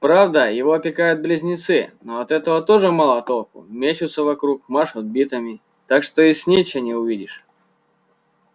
правда его опекают близнецы но от этого тоже мало толку мечутся вокруг машут битами так что и снитча не увидишь